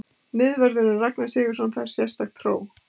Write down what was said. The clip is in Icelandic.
Miðvörðurinn Ragnar Sigurðsson fær sérstakt hró.